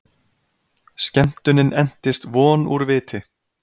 Skemmtunin entist von úr viti!